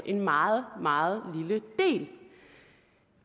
en meget meget lille del